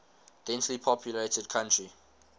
densely populated country